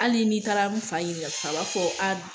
Hali n'i taara n fa ɲinika san, a fɔ aa